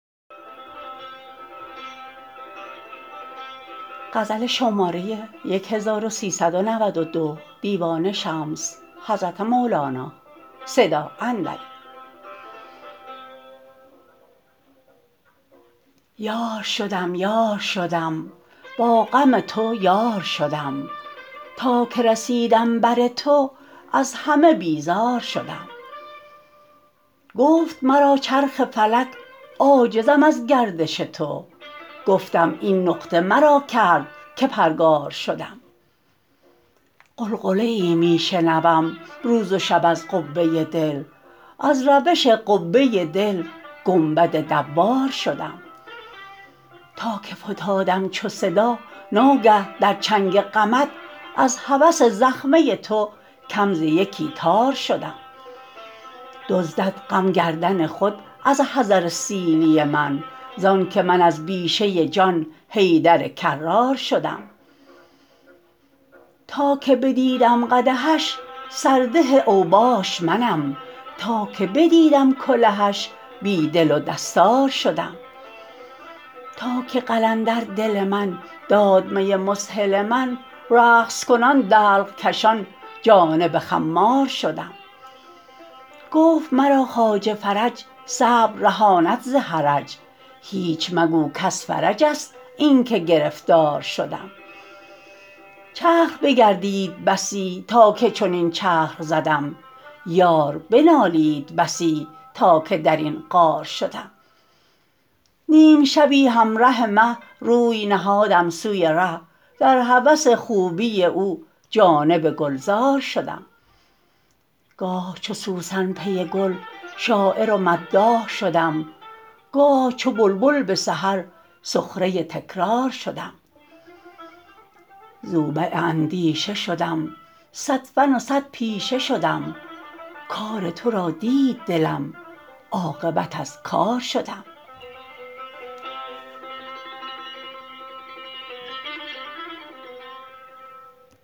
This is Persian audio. یار شدم یار شدم با غم تو یار شدم تا که رسیدم بر تو از همه بیزار شدم گفت مرا چرخ فلک عاجزم از گردش تو گفتم این نقطه مرا کرد که پرگار شدم غلغله می شنوم روز و شب از قبه دل از روش قبه دل گنبد دوار شدم تا که فتادم چو صدا ناگه در چنگ غمت از هوس زخمه تو کم ز یکی تار شدم دزدد غم گردن خود از حذر سیلی من زانک من از بیشه جان حیدر کرار شدم تا که بدیدم قدحش سرده اوباش منم تا که بدیدم کلهش بی دل و دستار شدم تا که قلندر دل من داد می مذهل من رقص کنان دلق کشان جانب خمار شدم گفت مرا خواجه فرج صبر رهاند ز حرج هیچ مگو کز فرج ست اینک گرفتار شدم چرخ بگردید بسی تا که چنین چرخ زدم یار بنالید بسی تا که در این غار شدم نیم شبی همره مه روی نهادم سوی ره در هوس خوبی او جانب گلزار شدم گاه چو سوسن پی گل شاعر و مداح شدم گاه چو بلبل به سحر سخره تکرار شدم زوبع اندیشه شدم صد فن و صد پیشه شدم کار تو را دید دلم عاقبت از کار شدم